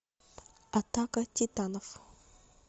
атака титанов